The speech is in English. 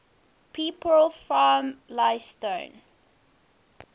people from leytonstone